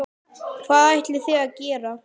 Hvað ætlið þið að gera?